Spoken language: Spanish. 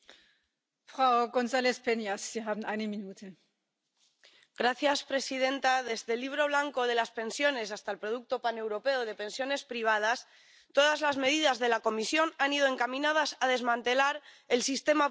Señora presidenta, desde el Libro Blanco de las Pensiones hasta el producto paneuropeo de pensiones privadas todas las medidas de la Comisión han ido encaminadas a desmantelar el sistema público de pensiones.